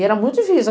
E era muito difícil.